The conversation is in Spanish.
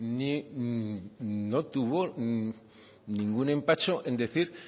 no tuvo ningún empacho en decir